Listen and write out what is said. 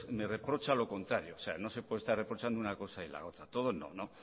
me reprocha lo contrario no se puede estar reprochando una cosa y la otra bueno